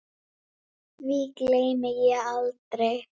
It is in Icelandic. Birkir lætur af störfum hjá.